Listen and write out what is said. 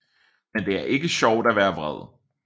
Men det er ikke sjovt at være vred